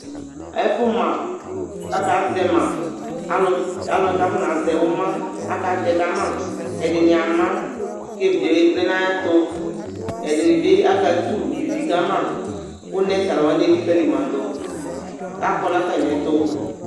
Ɛfʋma kʋ akazɛ ma Alʋ t alʋ wanɩ kʋ afɔnazɛ ʋma akatɛ ka ma Ɛdɩnɩ ama kʋ evidze yɛ vlɛ nʋ ayɛtʋ Ɛdɩnɩ bɩ akatʋ ivi ka ma kʋ nɛs alʋ wanɩ elikǝli ma dʋ kʋ akɔ nʋ atamɩɛtʋ